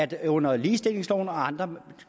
det under ligestillingsloven og andre